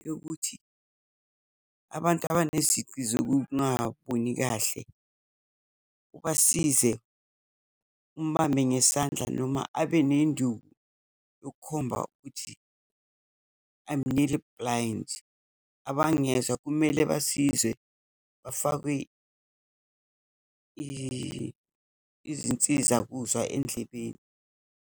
Yokuthi, abantu abanezici zokungaboni kahle, ubasize, umbambe ngesandla, noma abe nenduku yokukhomba ukuthi I am nearly blind. Abangezwa, kumele basizwe bafakwe izinsizakuzwa endlebeni.